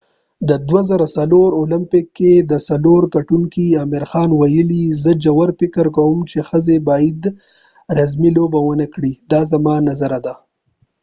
د 2004 اولمپک کې د سلور ګټونکې عامر خان ويلی : زه ژور فکر کوم چې ښځی باید رزمی لوبی ونه کړي، دا زما نظر ده